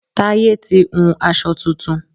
Táyé ti hun aṣọ tuntun